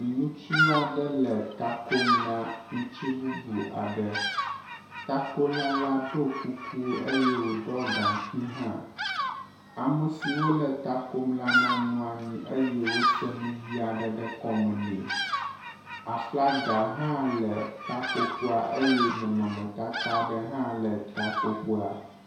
Ŋutsu aɖe le takom na ŋutsu bubu aɖe, takola la ɖɔ kuku eye woɖɔ gaŋkui hã. Amesi wole takom la na nɔ anyi eye wose nuɣi aɖe ɖe kɔme nɛ. Aflaga hã le takoƒea eye nɔnɔmetata aɖe hã le takoƒea.